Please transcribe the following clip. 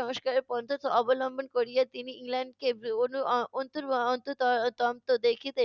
সংস্কারের পথ অবলম্বন করিয়া তিনি ইংল্যান্ডকে দন্ত দেখিতে